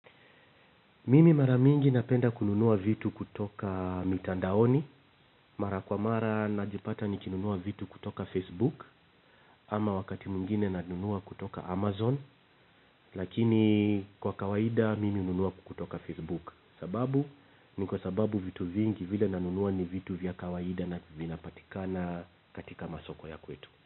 Mimi mara mingi napenda kununua vitu kutoka mitandaoni. Mara kwa mara najipata nikinunua vitu kutoka Facebook. Ama wakati mwingine nanunua kutoka amazon lakini kwa kawaida mimi hununua kutoka facebook. Sababu ni kwa sababu vitu vingi vile nanunua ni vitu vya kawaida na vinapatikana katika masoko ya kwetu.